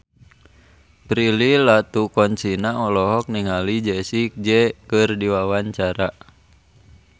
Prilly Latuconsina olohok ningali Jessie J keur diwawancara